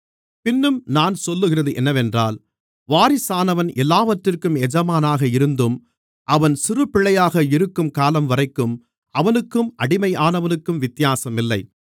பின்னும் நான் சொல்லுகிறது என்னவென்றால் வாரிசானவன் எல்லாவற்றிற்கும் எஜமானாக இருந்தும் அவன் சிறுபிள்ளையாக இருக்கும் காலம்வரைக்கும் அவனுக்கும் அடிமையானவனுக்கும் வித்தியாசம் இல்லை